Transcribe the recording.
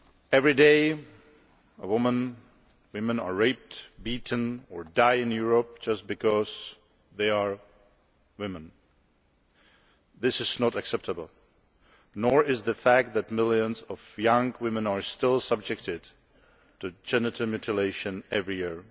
Every day in Europe, women are raped or beaten, or die, just because they are women. This is not acceptable and nor is the fact that millions of young women are still subjected to genital mutilation every year.